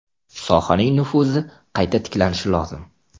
Sohaning nufuzi qayta tiklanishi lozim.